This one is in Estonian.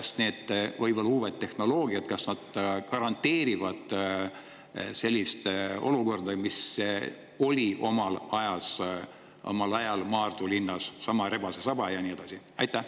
Kas need võib-olla uued tehnoloogiad garanteerivad, selline olukord, mis oli omal ajal Maardu linnas – seesama "rebasesaba" ja nii edasi?